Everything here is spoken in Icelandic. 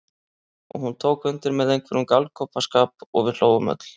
Og hún tók undir með einhverjum galgopaskap og við hlógum öll.